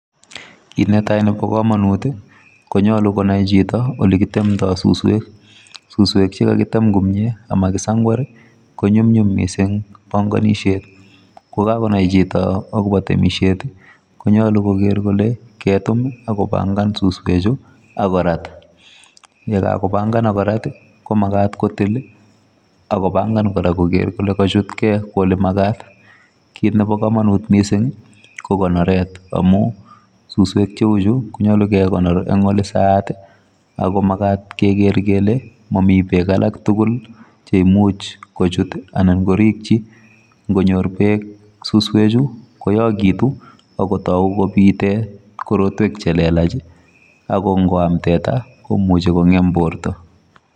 Kit netai nebo komonut konyolu konai chito olekitemdo suswek, suswek chekakitem komie ama kisangwari konyumyum missing bonkonishet ko kakonai chito akobo temishet tii konyoluu kokere kole ketum ak kopangan suswek chuu akorat. Yeka kopangan ak korat komakat kotil lii akopangan Koraa koker kole kochutgee ole makat. Kit nebo komonut missingi ko konoret amun suswek cheu chuu konyolu kekonor en olesaat tii ako makat Keker kele momii beek alak tukul lii cheimuch kochut tii anan korichii. Nkonyor beek suswek chuu koyokitu akotoo kipite korotwek chelelachi ako nkoam teta komuche kongem borto.